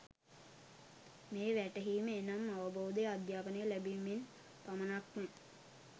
මේ වැටහීම එනම් අවබෝධය, අධ්‍යාපනය ලැබීමෙන් පමණක්ම